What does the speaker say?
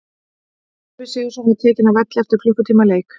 Gylfi Sigurðsson var tekinn af velli eftir klukkutíma leik.